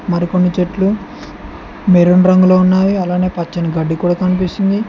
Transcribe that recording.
మరికొన్ని చెట్లు మెరూన్ రంగులో ఉన్నవి అలానే పచ్చని గడ్డి కూడా కనిపిస్తుంది.